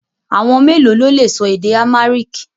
Àwọn mélòó lo lè sọ èdè Amharic?